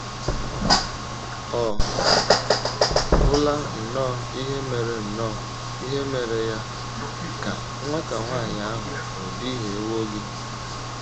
“ Ọ̀ gwụla nnọọ ihe mere nnọọ ihe mere ya, ka nwata nwanyị ahụ ò duhiewo gị? ”